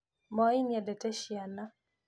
Moi nĩendete ciana